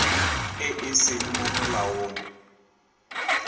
e e seng mo molaong